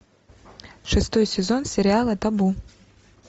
шестой сезон сериала табу